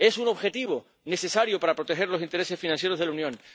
Es un objetivo necesario para proteger los intereses financieros de la Unión.